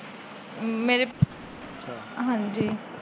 ਮੇਰੇ ਹਾਂਜੀ